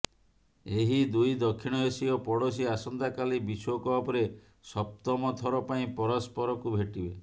ଏହି ଦୁଇ ଦକ୍ଷୀଣ ଏସୀୟ ପଡ଼ୋଶୀ ଆସନ୍ତାକାଲି ବିଶ୍ବକପ୍ରେ ସପ୍ତମ ଥର ପାଇଁ ପରସ୍ପରକୁ ଭେଟିବେ